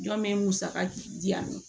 Jɔn bɛ musaka di yan nɔ